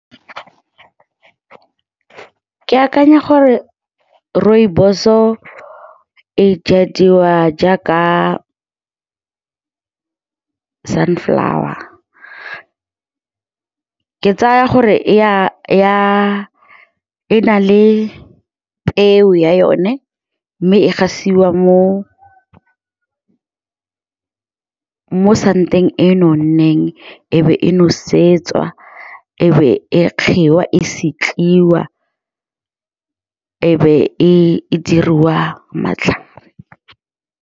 Ke akanya gore rooibos-o e jadiwa jaaka sunflower. Ke tsaya gore e na le peo ya yone mme e gasiwa mo santeng e nonneng, e be e nosetswa, ebe e kgigwa e , e be e diriwa matlhare.